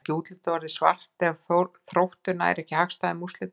En er útlitið ekki orðið svart ef að Þróttur nær ekki hagstæðum úrslitum úr leiknum?